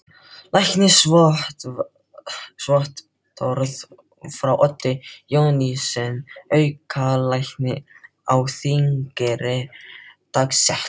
Læknisvottorð frá Oddi Jónssyni, aukalækni á Þingeyri, dagsett